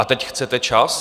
A teď chcete čas?